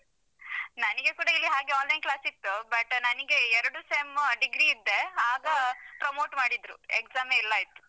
ನಂಗೆ ಕೂಡ ಇಲ್ಲಿ ಹಾಗೆ online class ಇತ್ತು. but ನನಿಗೆ ಎರಡು sem degree ಇದ್ದೆ ಆಗ promote ಮಾಡಿದ್ರು exam ಯೇ ಇಲ್ಲ ಇತ್ತು.